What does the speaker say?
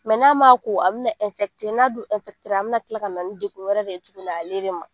n'a m'a ko a bina n'a dun a bina kila ka na ni degun wɛrɛ de ye tuguni ale de ma.